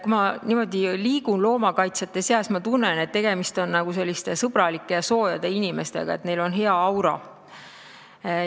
Kui ma liigun loomakaitsjate seas, siis ma tunnen, et tegemist on sõbralike ja soojade inimestega, neil on hea aura.